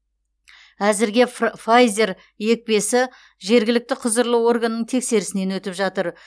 әзірге фр файзер екпесі жергілікті құзырлы органның тексерісінен өтіп жатыр